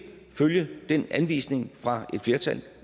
følge den anvisning fra et flertal